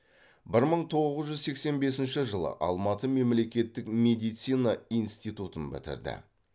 бір мың тоғыз жүз сексен бесінші жылы алматы мемлекеттік медицина институтын бітірді